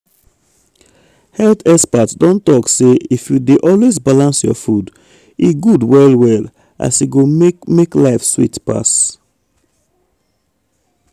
health experts don talk say if you dey always balance your food e good well well as e go make make life sweet pass.